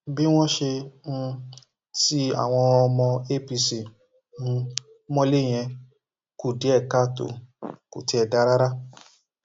bí wọn ṣe um ti àwọn ọmọ apc um mọlẹ yẹn kù díẹ káàtó kò tiẹ dáa rárá